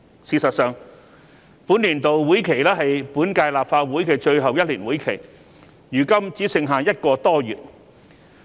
事實上，本年度會期是本屆立法會的最後1年會期，如今只剩下1個多月。